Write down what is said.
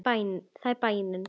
Það er bænin.